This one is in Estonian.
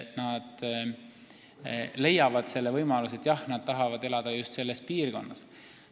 Nad leiavad sellise võimaluse, sest nad tahavad elada just selles piirkonnas.